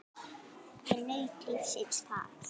Ég naut lífsins þar.